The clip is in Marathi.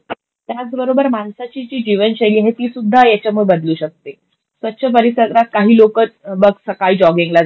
त्याचबरोबर माणसाची जी जीवनशैली आहे तिसुद्धा याच्यामुळे बदलू शकते. स्वच्छ परिसरात काही लोकं बघ सकाळी जॉगिंगला जातात.